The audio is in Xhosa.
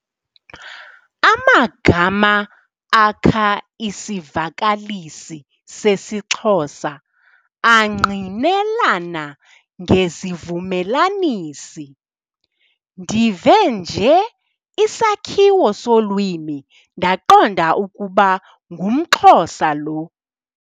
Amagama akha isivakalisi sesiXhosa angqinelana ngezivumelanisi. ndive nje isakhiwo solwimi ndaqonda ukuba ngumXhosa lo